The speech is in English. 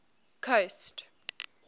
coast